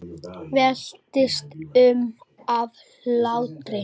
Veltist um af hlátri.